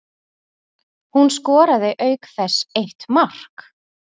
Hún skoraði auk þess eitt mark